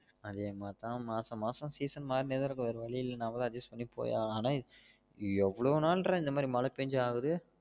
அதே மாறி தான் மாசம் மாசம் season மார்ணே தான் இருக்கும் வேற வலி இல்ல நாம தான் adjust பண்ணிபோயி ஆகணும் ஆனா எவ்ளோ நாள்ற இந்த் மாதிரி மழை பெஞ்சி ஆவுது